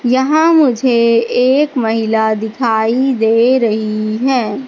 यहां मुझे एक महिला दिखाई दे रही है।